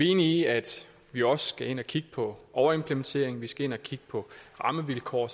enige i at vi også skal ind at kigge på overimplementering vi skal ind at kigge på rammevilkår